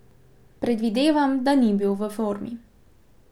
Predvidevam, da ni bil v formi.